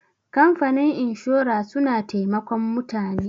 kamfanin inshora suna taimakon mutane